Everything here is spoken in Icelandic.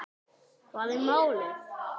Hvað er málið?